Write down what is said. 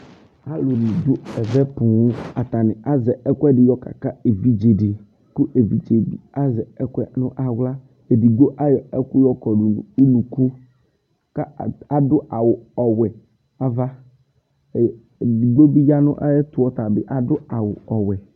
Aluni du ɛʋɛ poo, atani azɛ ɛkuɛdi yɔ kaka evidzedi ku evɩdzebi azɛ ɛkuɛnu awla Edigbo ayɔ ɛku yɔkɔdu n'unuku k'aadu awu ɔwɛ n'aʋa ɛ edigbo bi yanu aɛyɛtu ɔtabi adu awu ɔwɛ